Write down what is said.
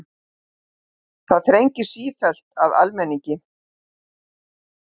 Það þrengir sífellt að almenningi